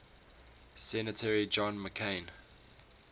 senator john mccain